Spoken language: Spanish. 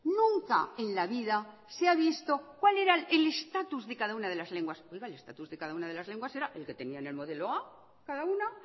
nunca en la vida se ha visto cuál era el estatus de cada una de las lenguas oiga el estatus de cada una de las lenguas era el que tenía el modelo a cada una